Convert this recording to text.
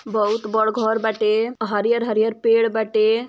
बहुत बड़ घर बाटे। हरियर-हरियर पेड़ बाटे।